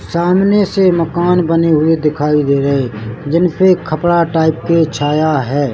सामने से मकान बने हुए दिखाई दे रहे जिनपे कपडा टाइप के छाया है।